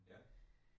Ja?